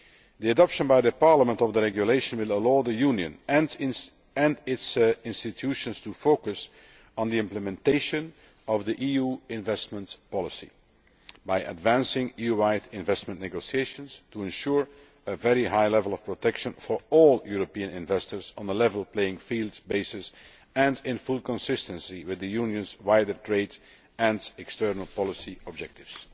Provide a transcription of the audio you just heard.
The adoption by Parliament of the regulation will allow the Union and its institutions to focus on the implementation of EU investment policy, by advancing EU wide investment negotiations to ensure a very high level of protection for all European investors on a level playing field and in full consistency with the Union's wider trade and external policy objectives.